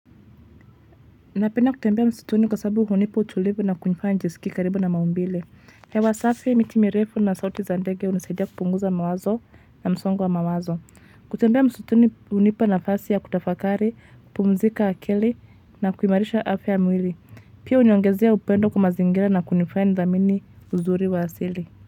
Napenda kutembea msituni kwa sababu hunipa utulivu na kunifanya nijiskie karibu na maumbile. Hewa safi miti mirefu na sauti za ndege hunisaidia kupunguza mawazo na msongo wa mawazo. Kutembea msituni hunipa nafasi ya kutafakari, kupumzika akili na kuimarisha afya mwili. Pia huniongezea upendo kwa mazingira na kunifanya nidhamini uzuri wa asili.